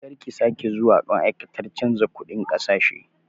Karki sake zuwa ma'aikatar canza kuɗin ƙasashe!